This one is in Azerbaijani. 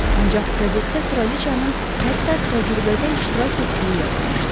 Ancaq qəzetdə kraliçanın hətta təcrübədə iştirak etdiyi yazılmışdı.